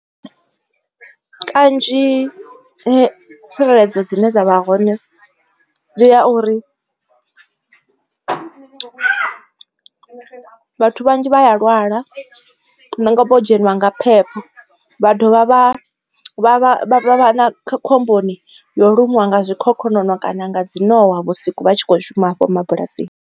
Kanzhi tsireledzo dzine dza vha hone ndi ya uri vhathu vhanzhi vha ya lwala nangwe vho dzheniwa nga phepho vha dovha vha vha khomboni yo lumiwa nga zwikhokhonono kana nga dzi nowa vhusiku vha tshi kho shuma hafho mabulasini.